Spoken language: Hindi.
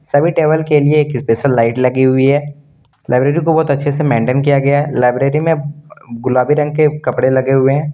सभी टेबल के लिए एक स्पेशल लाइट लगी हुई है लाइब्रेरी को बहुत अच्छे से मेंटेन किया गया है लाइब्रेरी में गुलाबी रंग के कपड़े लगे हुए हैं।